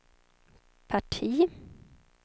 parti